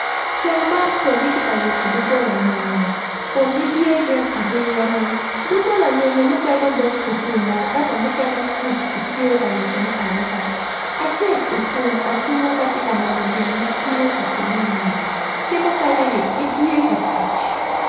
Co man kono gitye ka yubo dogola nyonyo kun gitye gin abiro dogola nyonyo mukene dong otum oo ento mukene pud kitye ka yubone ayuba acel ocung acunga ka tye ka neno gin ma tye ka timmeni ki mukeneni gitye ka tic,